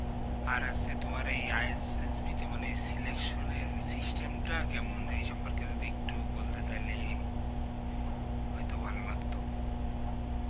আর আসছে তোমার এই ISSB তো মানে selection system টা কেমন এই সম্পর্কে যদি একটু বলতে তাহলে হয়তো ভালো লাগতো